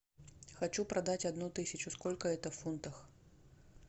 хочу продать одну тысячу сколько это в фунтах